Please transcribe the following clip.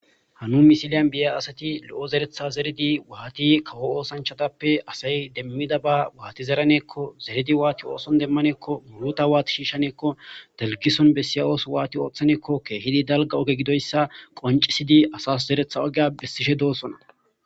hanu misiliyan biya asati lo7o zeretha zeredi waati kawo oosanchatappe asay demmida ba waati zeraneekko zeredi waati ooson demmaneekko muluta waati shiishaneekko dalgison bessiya ooso waati ooththaneekkokkeehidi dalga oge gidoyssa qoncisidi asas zeretha ogeya bessishe doosona